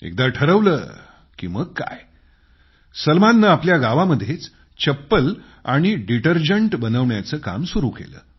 एकदा ठरवलं की मग काय सलमाननं आपल्या गावामध्येच चप्पल आणि डिटर्जंट बनवण्याचं काम सुरू केलं